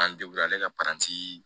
An ale ka paranti